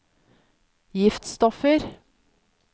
giftstoffer